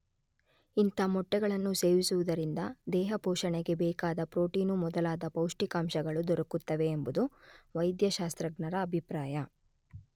ಇಂಥ ಮೊಟ್ಟೆಗಳನ್ನು ಸೇವಿಸುವುದರಿಂದ ದೇಹಪೋಷಣೆಗೆ ಬೇಕಾದ ಪ್ರೋಟೀನು ಮೊದಲಾದ ಪೌಷ್ಠಿಕಾಂಶಗಳು ದೊರಕುತ್ತವೆ ಎಂಬುದು ವೈದ್ಯ ಶಾಸ್ತ್ರಜ್ಞರ ಅಭಿಪ್ರಾಯ.